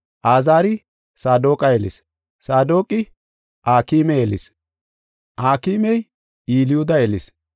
Azaari Saadoqa yelis; Saadoqi Akime yelis; Akimey Elyuuda yelis;